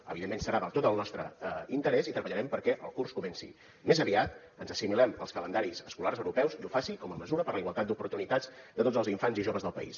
evidentment serà de tot el nostre interès i treballarem perquè el curs comenci més aviat ens assimilem als calendaris escolars europeus i ho faci com a mesura per a la igualtat d’oportunitats de tots els infants i joves del país